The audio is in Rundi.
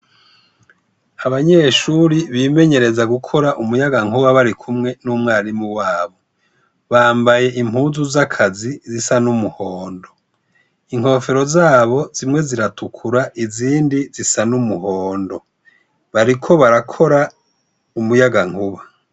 Abanyeshuri bimenyereza gukora umuyagankuba barikumwe n'umwarimu wabo, bambaye impuzu z'akazi zisa n'umuhondo, inkofero zabo zimwe ziratukura, izindi zisa n'umuhondo, bariko barakora umuyaga nkuba.